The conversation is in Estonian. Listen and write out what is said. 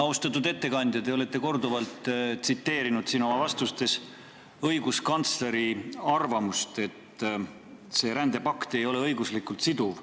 Austatud ettekandja, te olete siin korduvalt oma vastustes tsiteerinud õiguskantsleri arvamust, et see rändepakt ei ole õiguslikult siduv.